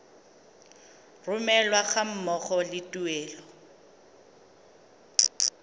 romelwa ga mmogo le tuelo